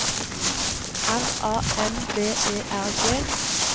R A M B E R G